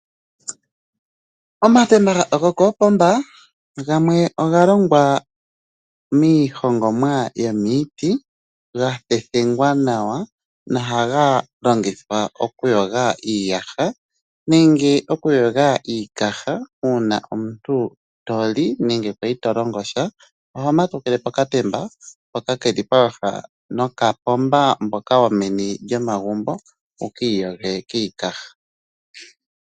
Omatemba gokoopomba gamwe oga longwa miihongomwa yomiiti ga thethengwa nawa, no ha ga longithwa oku yoga iiyaha nenge oku yoga iikaha uuna omuntu kwa li nenge to longosha, oho matukile pokatemba hoka keli pooha noka pomba mboka women lyomagumbo wu ki iyoge kiikaha.